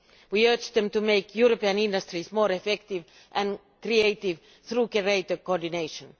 We urge them to make European industries more effective and creative through greater coordination.